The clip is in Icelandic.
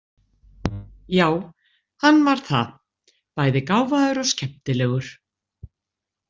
Já, hann var það, bæði gáfaður og skemmtilegur.